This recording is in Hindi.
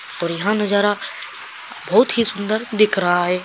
और यह नजारा बहुतही सुंदर दिख रहा है।